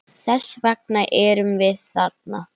Þess vegna erum við þarna.